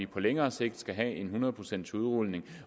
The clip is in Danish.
på længere sigt skal have en hundrede procents udrulning